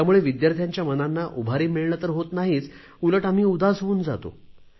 त्यामुळे विद्यार्थ्यांच्या मनांना उभारी मिळणे तर होत नाहीच उलट आम्ही उदास होऊन जातो